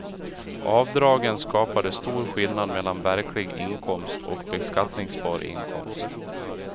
Avdragen skapade stor skillnad mellan verklig inkomst och beskattningsbar inkomst.